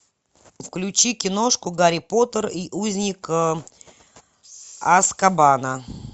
включи киношку гарри поттер и узник азкабана